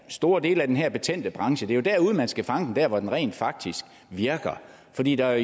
store del af den her betændte branche det er jo derude man skal fange dem der hvor den rent faktisk virker fordi der